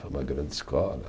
Uma grande escola.